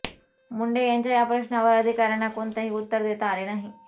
मुंढे यांच्या या प्रश्नावर अधिकाऱ्यांना कोणतेही उत्तर देता आले नाही